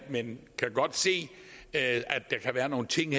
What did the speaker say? men kan godt se at der kan være nogle ting